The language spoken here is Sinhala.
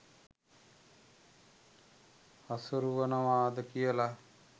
හසුරුවනවද කියල.